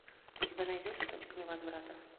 у тебя найдется точка невозврата